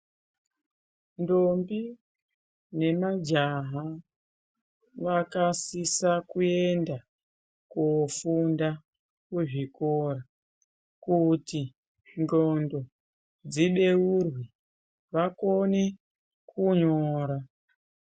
Ndombi nemajaha vakasisa kuenda koofunda kuzvikora kuti ndxondo dzibeurwe vakone kunyora.